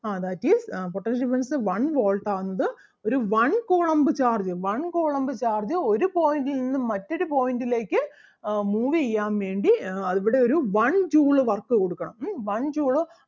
ah that is uh potential difference one Volt ആകുന്നത് ഒരു one coulomb charge one coulomb charge ഒരു point ൽ നിന്നും മറ്റൊരു point ലേക്ക് അഹ് move ചെയ്യാൻ വേണ്ടി ആഹ് ഇവിടെ ഒരു one joule work കൊടുക്കണം ഉം one joule of